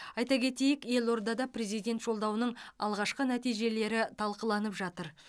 айта кетейік елордада президент жолдауының алғашқы нәтижелері талқыланып жатыр